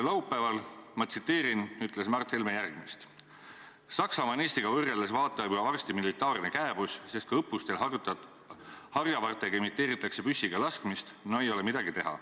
Laupäeval ütles Mart Helme järgmist: "Saksamaa on Eestiga võrreldes vaata varsti juba militaarne kääbus, sest kui õppustel harjavartega imiteeritakse püssiga laskmist ... no ei ole midagi teha.